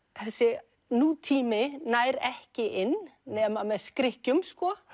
þessi nútími nær ekki inn nema með skrykkjum